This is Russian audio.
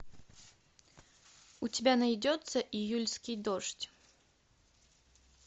у тебя найдется июльский дождь